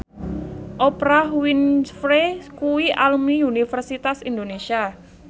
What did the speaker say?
Oprah Winfrey kuwi alumni Universitas Indonesia